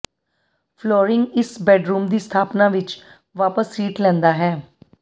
flooring ਇਸ bedroom ਦੀ ਸਥਾਪਨਾ ਵਿੱਚ ਵਾਪਸ ਸੀਟ ਲੈਂਦਾ ਹੈ